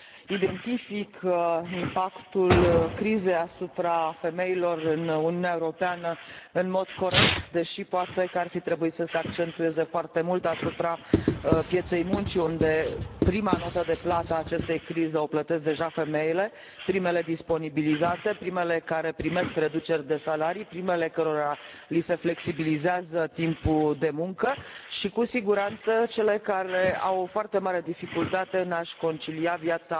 Identifică impactul crizei asupra femeilor în Uniunea Europeană în mod corect, deși poate că ar fi trebuit să se pună accentul mai mult pe piața muncii, unde prima notă de plată a acestei crize o plătesc deja femeile, primele disponibilizate, primele care primesc reduceri de salarii, primele cărora li se flexibilizează timpul de muncă și, cu siguranță, cele care au o foarte mare dificultate în a și concilia viața